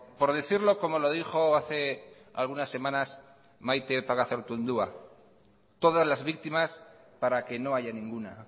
por decirlo como lo dijo hace algunas semanas maite pagazaurtundua todas las víctimas para que no haya ninguna